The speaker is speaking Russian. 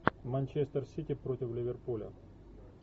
манчестер сити против ливерпуля